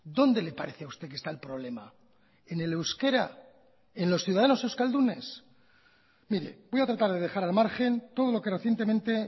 dónde le parece a usted que está el problema en el euskera en los ciudadanos euskaldunes mire voy a tratar de dejar al margen todo lo que recientemente